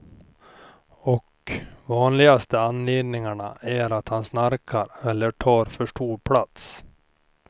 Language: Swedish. Och vanligaste anledningarna är att han snarkar eller tar för stor plats.